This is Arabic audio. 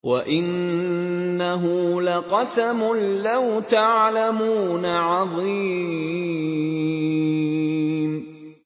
وَإِنَّهُ لَقَسَمٌ لَّوْ تَعْلَمُونَ عَظِيمٌ